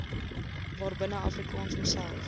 waarbinne afrikaans homself